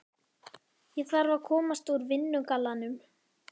Ég þarf að komast úr vinnugallanum.